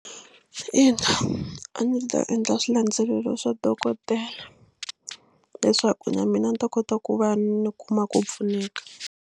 Ina, a ndzi ta endla swilandzelo swa dokodela leswaku na mina ni ta kota ku va ni kuma ku pfuneka.